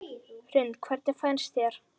Hrund: Hvernig finnst þér?